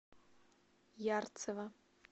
ярцево